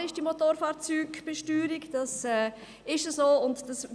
Ich weiss, die Motorfahrzeugbesteuerung ist ein emotionales Geschäft und Thema.